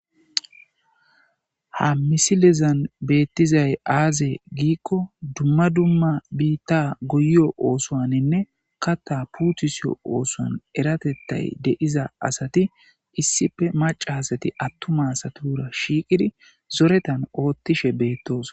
Ha misilezan beettizay aaze giikko dumma dumma biitta guyo oosoaninne katta puutusiyo oosoan eratettay de7iza asati issife maca asati attuma asatura shiiqidi zoretan oottishe beettoos.